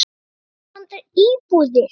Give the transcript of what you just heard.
Núna vantar íbúðir.